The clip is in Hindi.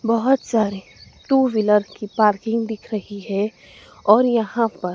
बहोत सारे टू व्हीलर की पार्किंग दिख रही है और यहां पर--